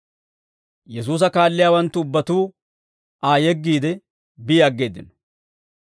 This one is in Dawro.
Yesuusa kaalliyaawanttu ubbatuu Aa yeggiide bi aggeeddino.